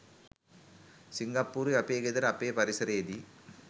සිංගප්පූරුවෙ අපේ ගෙදර අපේ පරිසරයේදී